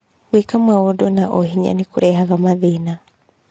Gwĩka maũndũ na ũhinya nĩ kũrehaga mathĩna.